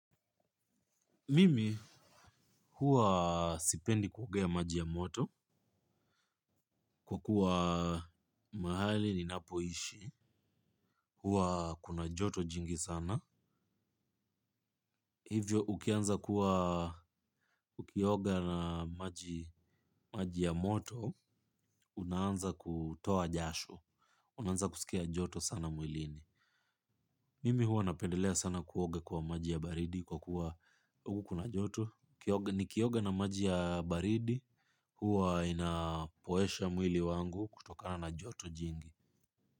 Mimi huwa sipendi kuogea maji ya moto kwa kuwa mahali ninapoishi, huwa kuna joto jingi sana. Hivyo ukianza kuwa ukioga na maji ya moto, unaanza kutoa jasho, unaanza kusikia joto sana mwilini. Mimi huwa napendelea sana kuoga kwa maji ya baridi kwa kuwa huku kuna joto. Ukioga nikioga na maji ya baridi huwa inapoesha mwili wangu kutokana na joto jingi.